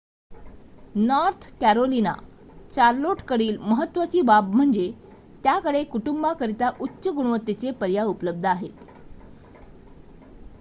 north Carolina चार्लोटकडील महत्त्वाची बाब म्हणजे त्याकडे कुटुंबांकरिता उच्च-गुणवत्तेचे पर्याय उपलब्ध आहेत